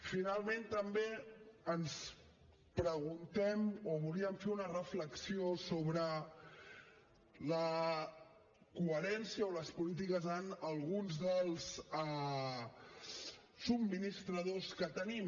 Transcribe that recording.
finalment també ens preguntem o volíem fer una reflexió sobre la coherència o les polítiques en alguns dels subministradors que tenim